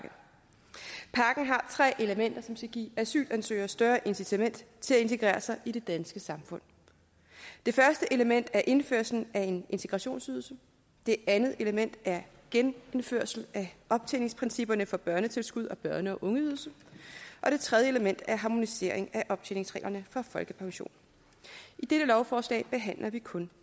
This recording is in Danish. tre elementer som skal give asylansøgere større incitament til at integrere sig i det danske samfund det første element er indførelse af en integrationsydelse det andet element er genindførelse af optjeningsprincipperne for børnetilskud og børne og ungeydelse og det tredje element er harmonisering af optjeningsreglerne for folkepension i dette lovforslag behandler vi kun